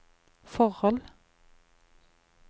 forhold